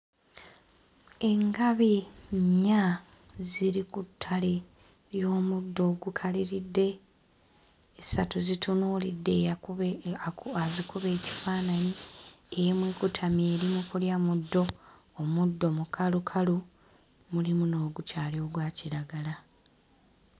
Engabi nnya ziri ku ttale ly'omuddo ogukaliridde, essatu zitunuulidde eyakuba azikuba ekifaananyi. Emu ekutamye eri mu kulya muddo, omuddo mukalukalu mulimu n'ogukyali ogwa kiragala.